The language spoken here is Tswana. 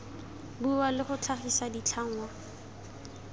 bua le go tlhagisa ditlhangwa